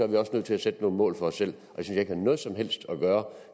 vi også nødt til at sætte nogle mål for os selv og det synes jeg ikke har noget som helst at gøre